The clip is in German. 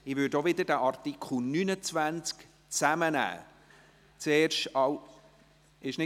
Ich würde diese auch wieder zusammennehmen.